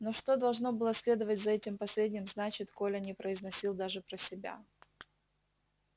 но что должно было следовать за этим последним значит коля не произносил даже про себя